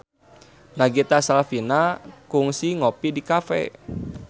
Nagita Slavina kungsi ngopi di cafe